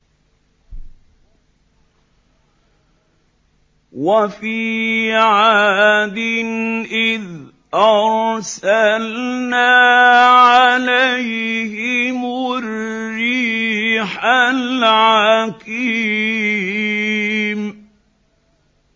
وَفِي عَادٍ إِذْ أَرْسَلْنَا عَلَيْهِمُ الرِّيحَ الْعَقِيمَ